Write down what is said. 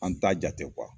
An t'a jate